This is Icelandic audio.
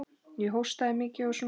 Ég hóstaði mikið og svona.